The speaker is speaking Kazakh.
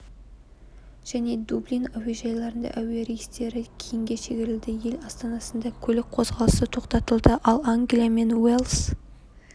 және дублин әуежайларында әуерейстері кейінге шегерілді ел астанасында көлік қозғалысы тоқтатылды ал англия мен уэльс